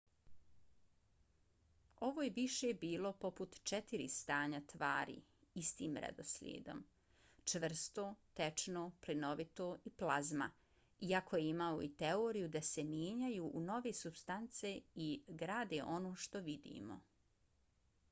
ovo je više bilo poput četiri stanja tvari istim redoslijedom: čvrsto tečno plinovito i plazma iako je imao i teoriju da se mijenjaju u nove supstance i grade ono što vidimo